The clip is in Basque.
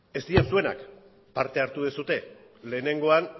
ez dira zuenak parte hartu duzue lehenengoan